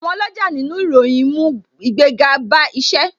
Àwọn oloja nínú ìròyìn ń mú ìgbéga bá isẹ